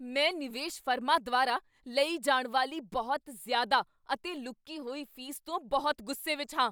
ਮੈਂ ਨਿਵੇਸ਼ ਫਰਮਾਂ ਦੁਆਰਾ ਲਈ ਜਾਨ ਵਾਲੀ ਬਹੁਤ ਜ਼ਿਆਦਾ ਅਤੇ ਲੁਕੀ ਹੋਈ ਫੀਸ ਤੋਂ ਬਹੁਤ ਗੁੱਸੇ ਵਿੱਚ ਹਾਂ।